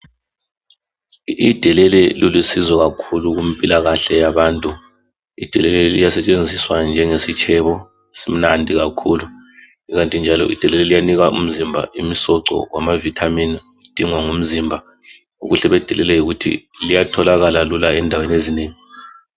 idelele lilusizo kakhulu kumpilakahle yabantu idelele liyasetsenziswa njengesitshebo esimnandi kakhulu ikanti njalo idelele liyanika umzimba imsoco yama Vitamin idingwa ngumzimba ubuhle bedelele yikuthi liyatholakala lula endaweni ezinengi